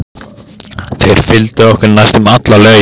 Þeir fylgdu okkur næstum alla leið.